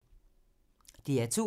DR2